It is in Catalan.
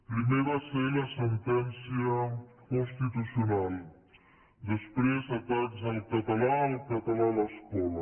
primer va ser la sentència constitucional després atacs al català el català a l’escola